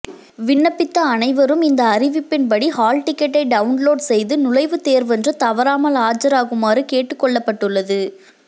விண்ணப்பித்த அனைவரும் இந்த அறிவிப்பின்படி ஹால் டிக்கெட்டை டவுன்லோடு செய்து நுழைவுத்தேர்வன்று தவறாமல் ஆஜராகுமாறு கேட்டுக்கொள்ளப்பட்டுள்ளது